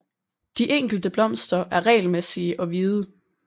De enkelte blomster er regelmæssige og hvide